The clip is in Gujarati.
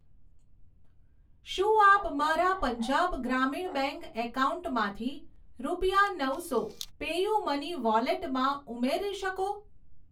શું આપ મારા પંજાબ ગ્રામીણ બેંક એકાઉન્ટમાંથી રૂપિયા નવસો પેયુમની વોલેટમાં ઉમેરી શકો?